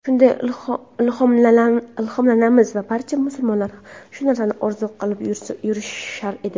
Shundan ilhomlanamiz va barcha musulmonlar shu narsani orzu qilib yurishar edi.